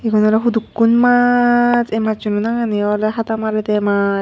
Igun olode hukkun maach ei macchuno nangani olode hada marede mach.